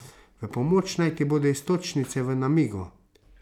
V pomoč naj ti bodo iztočnice v namigu.